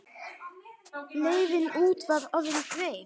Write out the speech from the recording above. Leiðin út var orðin greið.